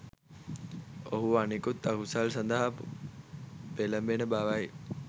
ඔහු අනෙකුත් අකුසල් සඳහා පෙළඹෙන බවයි.